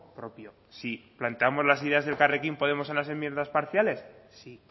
propio sí planteamos las ideas de elkarrekin podemos en las enmiendas parciales sí